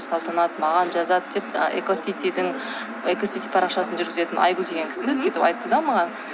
салтанат маған жазады деп ы экоситидің экосити парақшасын жүргізетін айгүл деген кісі сөйтіп айтты да маған